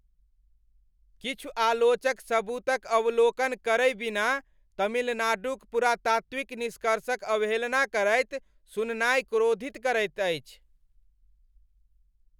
किछु आलोचक सबूतक अवलोकन करै बिना तमिलनाडुक पुरातात्विक निष्कर्षक अवहेलना करैत सुननाइ क्रोधित करैत अछि।